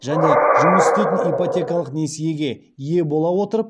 және жұмыс істейтін ипотекалық несиеге ие бола отырып